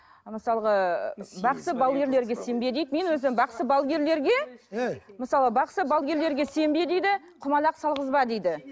мысалғы бақсы балгерлерге сенбе дейді мен өзім бақсы балгерлерге мысалы бақсы балгерлерге сенбе дейді құмалақ салғызба дейді